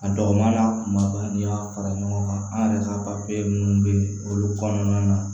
A dɔgɔmann'a kumaba n'i y'a fara ɲɔgɔn kan an yɛrɛ ka minnu bɛ yen olu kɔnɔna na